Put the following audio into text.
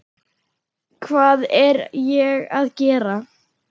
Hvað er ég að gera?